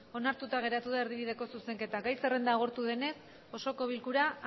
onartuta geratu da erdibideko zuzenketa gai zerrenda agortu denez osoko bilkura